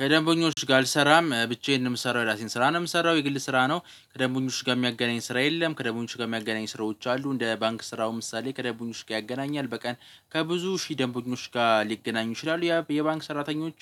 ከደንቦኞች ጋር አልሰራም ብቻዬን ምሰራው የራሴን ስራ ነው ምሰራው የግል ስራ ነው። ከደቡኞች ጋር የሚያገናኝ ስራ የለም። ከደቡኞች ጋር የሚያገናኝ ስራዎች አሉ። እንደ ባንክ ስራው ምሳሌ ከደንቡኞች ጋር ያገናኛል በቀን ከብዙ ሺህ ደንቡኞች ጋር ሊገናኙ ይችላሉ። የባንክ ሰራተኞች